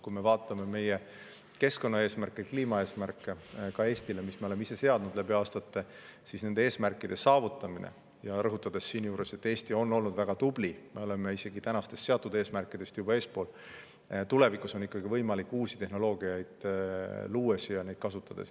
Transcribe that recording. Kui me vaatame meie keskkonnaeesmärke, kliimaeesmärke ka Eestile, mis me oleme ise seadnud aastate jooksul, siis nende eesmärkide saavutamine – rõhutan siinjuures, et Eesti on olnud väga tubli, me oleme oma praegustest eesmärkidest juba eespool – tulevikus on ikkagi võimalik uusi tehnoloogiaid luues ja neid kasutades.